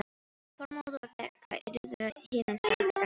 Þormóður og Begga yrðu himinsæl þegar hann birtist.